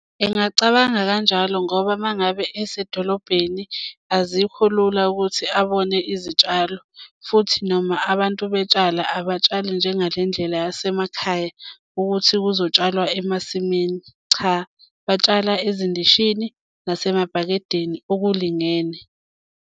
Ngingacabanga kanjalo ngoba uma ngabe esedolobheni azikho lula ukuthi abone izitshalo futhi noma abantu betshala abatshali njengale ndlela yasemakhaya ukuthi kuzotshalwa emasimini. Cha batshala ezindishini nasemabhakedeni okulingene.